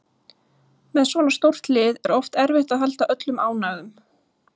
Með svona stórt lið er oft erfitt að halda öllum ánægðum